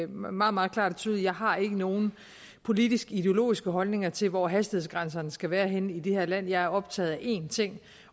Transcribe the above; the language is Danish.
meget meget klart og tydeligt at har nogen politisk ideologisk holdning til hvor hastighedsgrænserne skal være henne i det her land jeg er optaget af én ting